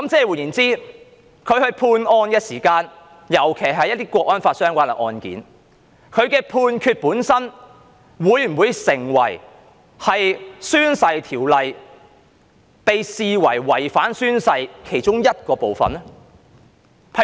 換言之，當他判案時，特別是一些與《香港國安法》相關的案件，他的判決本身會否成為在《條例》下被視為違反誓言的其中一個部分呢？